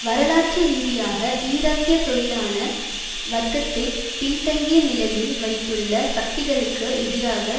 வரலாற்று ரீதியாக ஈராக்கிய தொழிலாள வர்க்கத்தை பின்தங்கிய நிலையில் வைத்துள்ள சக்திகளுக்கு எதிராக